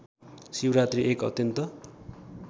शिवरात्री एक अत्यन्त